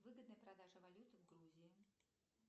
выгодная продажа валюты в грузии